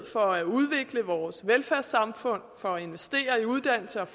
for at udvikle vores velfærdssamfund og investere i uddannelse og